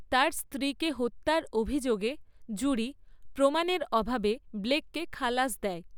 তার স্ত্রীকে হত্যার অভিযোগে, জুরি, প্রমাণের অভাবে ব্লেককে খালাস দেয়।